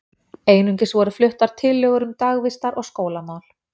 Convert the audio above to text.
Einnig voru fluttar tillögur um dagvistar- og skólamál.